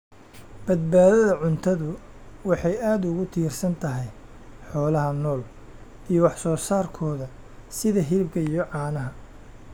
Badbaadada cuntadu waxay aad ugu tiirsan tahay xoolaha nool iyo wax soo saarkooda sida hilibka iyo caanaha.